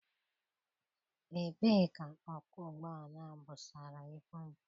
Ebee ka ọkwọ ụgbọala a busara ibu m?